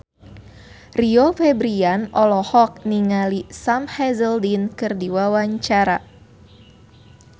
Rio Febrian olohok ningali Sam Hazeldine keur diwawancara